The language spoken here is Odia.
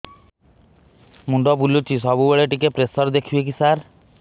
ମୁଣ୍ଡ ବୁଲୁଚି ସବୁବେଳେ ଟିକେ ପ୍ରେସର ଦେଖିବେ କି ସାର